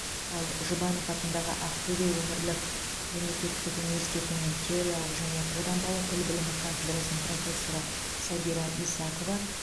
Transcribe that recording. ал жұбанов атындағы ақтөбе өңірлік мемлекеттік университетінің теориялық және қолданбалы тіл білімі кафедрасының профессоры сәбира исакова